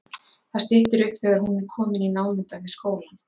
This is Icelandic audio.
Það styttir upp þegar hún er komin í námunda við skólann.